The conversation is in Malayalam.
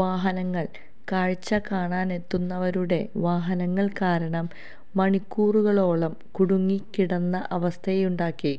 വാഹനങ്ങള് കാഴ്ച കാണാനെത്തുന്നവരുടെ വാഹനങ്ങള് കാരണം മണിക്കൂറുകളോളം കുടുങ്ങിക്കിടന്ന അവസ്ഥയുണ്ടാക്കി